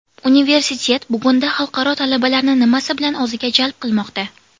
Universitet bugunda xalqaro talabalarni nimasi bilan o‘ziga jalb qilmoqda?